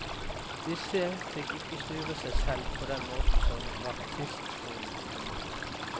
Disse fikk ikke styre seg selv på den måten som baptistskolen kunne.